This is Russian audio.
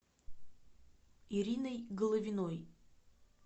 ириной головиной